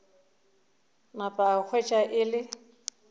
napa a hwetša e le